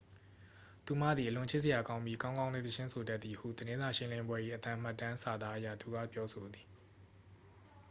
"""သူမသည် အလွန်ချစ်စရာကောင်းပြီး ကောင်းကောင်းလည်း သီချင်းဆိုတတ်သည်" ဟု သတင်းစာရှင်းလင်းပွဲ၏ အသံမှတ်တမ်းစာသားအရ သူက ပြောဆိုသည်။